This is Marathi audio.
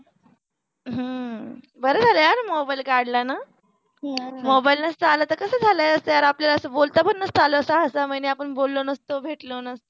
हम्म बर झाल यार मोबाइल काडल न मोबाइल नस्त आल त कस झाल अस्त अपल यार आपल्याल बोलता पण नसता आला अस्त सहा सहा महिने आपण बोलो नसतो भेटलों नसतो